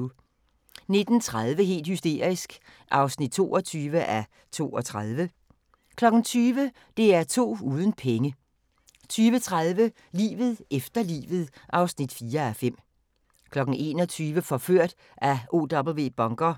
19:30: Helt hysterisk (22:32) 20:00: DR2 uden penge 20:30: Livet efter livet (4:5) 21:00: Forført af OW Bunker